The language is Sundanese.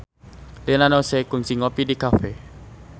Rina Nose kungsi ngopi di cafe